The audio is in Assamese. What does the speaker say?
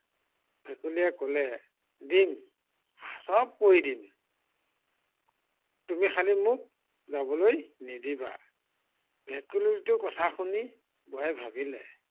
ভেকুলীয়ে কলে, দিম সৱ কৰি দিম। তুমি খালি মোক যাবলৈ নিদিবাষ ভেকুলীটোৰ কথা শুনি বুঢ়াই ভাবিলে